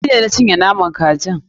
Ni ne na cinye naman kajin.